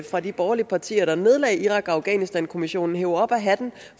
fra de borgerlige partiers nedlagde irak og afghanistankommissionen hev op af hatten